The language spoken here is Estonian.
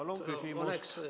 Palun küsimus!